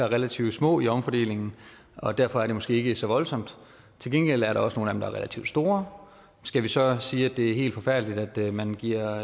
relativt små i omfordelingen og derfor er det måske ikke så voldsomt til gengæld er der også nogle er relativt store skal vi så sige at det er helt forfærdeligt at man giver